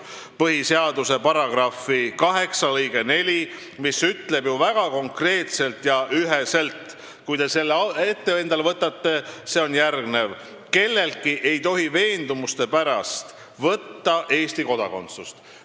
Põhiseaduse § 8 lõige 4 ütleb ju väga konkreetselt ja üheselt : "Kelleltki ei tohi veendumuste pärast võtta Eesti kodakondsust.